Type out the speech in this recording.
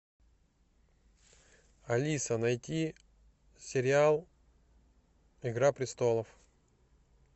алиса найти сериал игра престолов